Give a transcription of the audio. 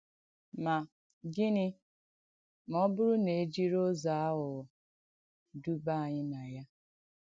Mà gị̣nị́ mà ọ̀ bụ́rù nà è jìrì ùzọ̀ àghụ̀ghọ̀ dùbà ànyị̣ nà ya?